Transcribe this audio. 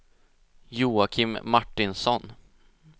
Joakim Martinsson